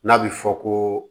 N'a bɛ fɔ ko